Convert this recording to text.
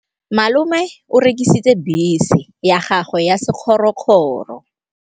Malome o rekisitse bese ya gagwe ya sekgorokgoro.